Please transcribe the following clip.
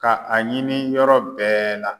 Ka a ɲini yɔrɔ bɛɛ la.